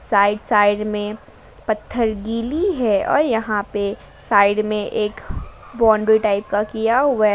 Side side में पत्थर गीली है और यहां पर साइड में एक बाउंड्री टाइप का किया हुआ है।